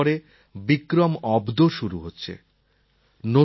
কিছুদিন পরে বিক্রম অব্দ শুরু হচ্ছে